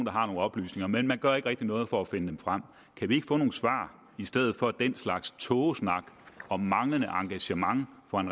har nogle oplysninger men man gør ikke rigtig noget for at finde dem frem kan vi ikke få nogle svar i stedet for den slags tågesnak om manglende engagement fra en